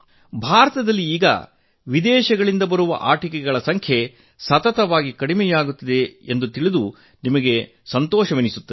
ಭಾರತದಲ್ಲಿ ಈಗ ವಿದೇಶಗಳಿಂದ ಬರುವ ಆಟಿಕೆಗಳ ಸಂಖ್ಯೆ ನಿರಂತರವಾಗಿ ಕಡಿಮೆಯಾಗುತ್ತಿದೆ ಎಂಬುದನ್ನು ತಿಳಿದು ನಿಮಗೆ ಸಂತೋಷವೆನಿಸುತ್ತದೆ